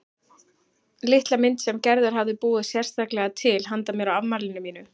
Litla mynd sem Gerður hafði búið sérstaklega til handa mér á afmælinu mínu.